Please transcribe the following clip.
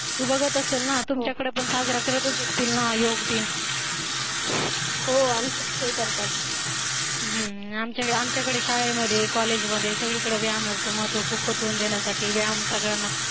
तू बघत असेल ना तुमच्याकडे पण साजरा करत असतील ना योग दिन हो आमच्या कडे ही करतात, आमच्याकडे आमच्याकडे शाळेमध्ये COLLEGE मध्ये सगळीकडे व्यायामाचं महत्व खूप पटवून देण्यासाठी व्यायाम सगळ्यांना